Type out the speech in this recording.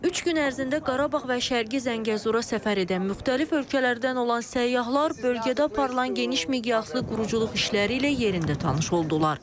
Üç gün ərzində Qarabağ və Şərqi Zəngəzura səfər edən müxtəlif ölkələrdən olan səyyahlar bölgədə aparılan geniş miqyaslı quruculuq işləri ilə yerində tanış oldular.